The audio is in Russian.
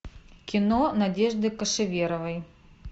кино надежды кошеверовой